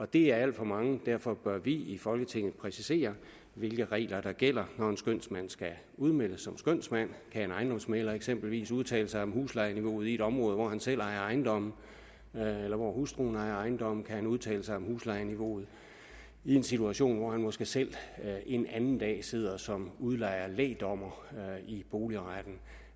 det er alt for mange derfor bør vi i folketinget præcisere hvilke regler der gælder når en skønsmand skal udmeldes som skønsmand kan en ejendomsmægler eksempelvis udtale sig om huslejeniveauet i et område hvor han selv ejer ejendommene eller hvor hustruen ejer ejendomme kan han udtale sig om huslejeniveauet i en situation hvor han måske selv en anden dag sidder som udlejer som lægdommer i boligretten